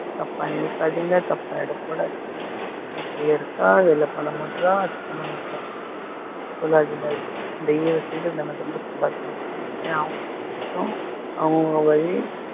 தப்பா நினைக்காதீங்க, தப்பா எடை போடாதீங்க, வீட்டுலேயே இருக்கா, வேலை பண்ணமாட்றாஅது பண்ணமாட்றான்னு சொல்லிட்டு எல்லாம் சொல்லாதீங்க ஏன்னா அவங்க கஷ்டம் அவங்க வலி